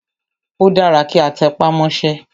Ó dára kí a tẹpá mọ́sẹ́.